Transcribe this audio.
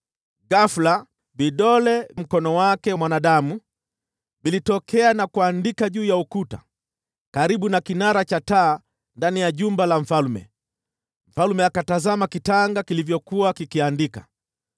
Ghafula vidole vya mkono wa mwanadamu vilitokea na kuandika juu ya ukuta, karibu na kinara cha taa ndani ya jumba la mfalme. Mfalme akatazama kitanga kilivyokuwa kikiandika.